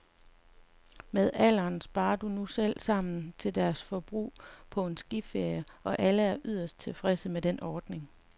Med alderen sparer de nu selv sammen til deres forbrug på en skiferie, og alle er yderst tilfredse med den ordning.